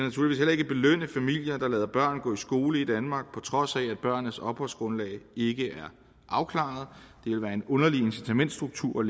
ikke belønne familier der lader børn gå i skole i danmark på trods af at børnenes opholdsgrundlag ikke er afklaret det vil være en underlig incitamentsstruktur